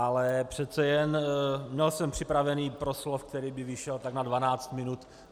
Ale přece jen měl jsem připravený proslov, který by vyšel tak na 12 minut.